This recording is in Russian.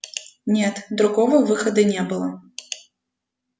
нет другого выхода не было